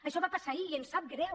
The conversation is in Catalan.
això va passar ahir i ens sap greu